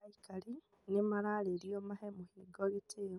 Aikari nĩ maririo mahe mũhingo gĩtĩo